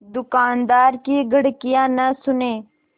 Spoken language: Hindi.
दुकानदार की घुड़कियाँ न सुने